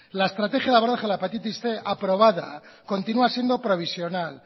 la estrategia de abordaje a la hepatitis cien aprobada continua siendo provisional